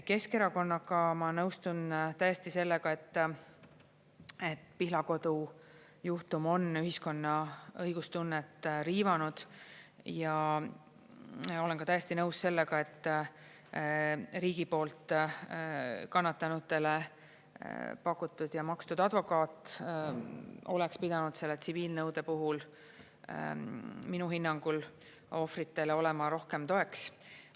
Keskerakonnaga ma nõustun täiesti sellega, et Pihlakodu juhtum on ühiskonna õigustunnet riivanud, ja olen ka täiesti nõus sellega, et riigi poolt kannatanutele pakutud ja makstud advokaat oleks pidanud selle tsiviilnõude puhul minu hinnangul ohvritele olema rohkem toeks.